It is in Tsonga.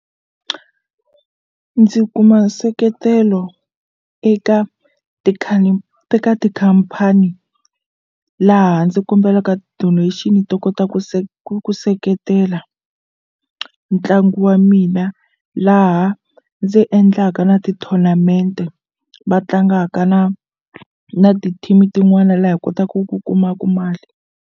Ndzi kuma nseketelo eka eka tikhampani laha ndzi kombelaka donation to kota ku ku seketela ntlangu wa mina laha ndzi endlaka na ti-tournament-e va tlangaka na na ti-team tin'wana la hi kotaku ku kumaku mali.